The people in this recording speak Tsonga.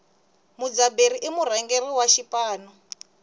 mudzaberi i murhangeri wa xipano